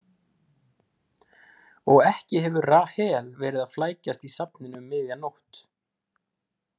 Og ekki hefur Rahel verið að flækjast í safninu um miðja nótt.